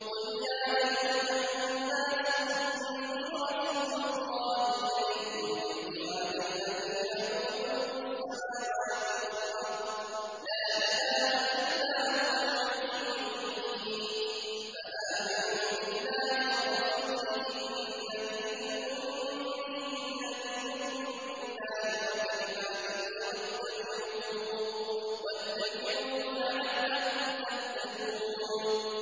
قُلْ يَا أَيُّهَا النَّاسُ إِنِّي رَسُولُ اللَّهِ إِلَيْكُمْ جَمِيعًا الَّذِي لَهُ مُلْكُ السَّمَاوَاتِ وَالْأَرْضِ ۖ لَا إِلَٰهَ إِلَّا هُوَ يُحْيِي وَيُمِيتُ ۖ فَآمِنُوا بِاللَّهِ وَرَسُولِهِ النَّبِيِّ الْأُمِّيِّ الَّذِي يُؤْمِنُ بِاللَّهِ وَكَلِمَاتِهِ وَاتَّبِعُوهُ لَعَلَّكُمْ تَهْتَدُونَ